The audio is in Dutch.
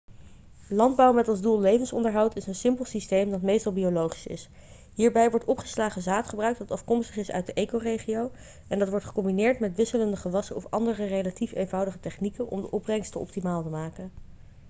landbouw met als doel levensonderhoud is een simpel systeem dat meestal biologisch is hierbij wordt opgeslagen zaad gebruikt dat afkomstig is uit de ecoregio en dat wordt gecombineerd met wisselende gewassen of andere relatief eenvoudige technieken om de opbrengst te optimaal te maken